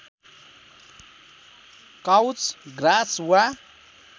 couch grass वा